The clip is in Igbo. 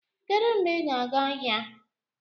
Kedu mgbe ị ga-aga ahịa?